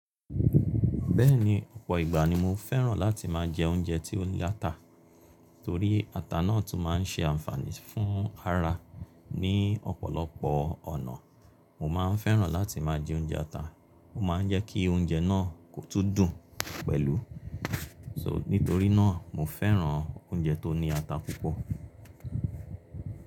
Bẹ́ẹ̀ni, ọ̀pọ̀ ìgbà ni mo fẹ́ràn láti má a jẹ oúnjẹ tí ó ní ata, torí ata náà tún má a ń ṣe ànfààní fún ara mí lọ̀pọ̀lọpọ̀ ọ̀nà. Mo ma ń fẹ́ran láti má a jẹ oúnjẹ ata. Mo ma ń jẹ́ kí oúnjẹ náà kó tún dùn pẹ̀lú, so nítorí náà, mo fẹ́ran oúnjẹ tó ní ata púpọ̀.